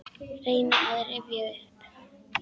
Reyni að rifja upp.